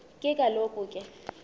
ke kaloku ke